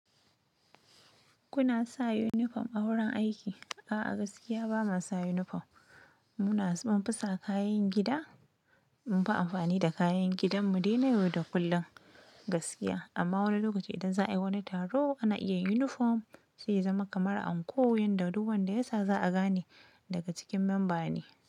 Kuna sa uniform a wurin aiki? A'a gaskiya bama sa uniform ba. Muna, mun fasa kayan gida, mun fi amfani da kayan gidan mu dai na yau da kullum gaskiya. Amma wani lokaci idan za'ai wani taro ana iya uniform, sai ya zama kamar anko, wanda duk wanda ya sa za'a gane daga cikin memba ne.